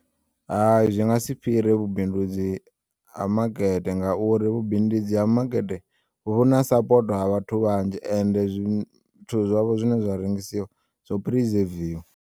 Hayi zwi nga si fhire vhubindudzi ha makete ngauri vhubindudzi ha makete vhuna sapoto ha vhathu vhanzhi ende zwithu zwavho zwine zwa rengisiwa zwo prizeviwa.